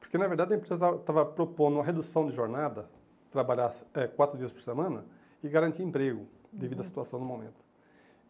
Porque, na verdade, a empresa estava estava propondo uma redução de jornada, trabalhar eh quatro dias por semana e garantir emprego, uhum, devido à situação no momento.